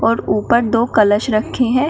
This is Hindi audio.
और ऊपर दो कलश रखे हैं।